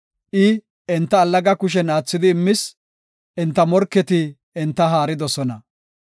I enta allaga kushen aathidi immis; enta morketi enta haaridosona.